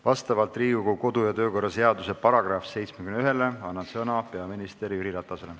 Vastavalt Riigikogu kodu- ja töökorra seaduse §-le 71 annan sõna peaminister Jüri Ratasele.